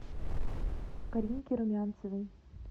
каринке румянцевой